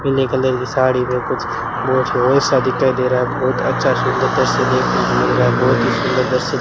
पीले कलर की साड़ी में कुछ सा दिखाई दे रहा है बहोत अच्छा सुंदर तस्वीर देखने को मिल रहा है बहोत ही सुंदर दृश्य --